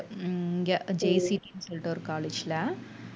உம் இங்க JCB ன்னு சொல்லிட்டு ஒரு college ல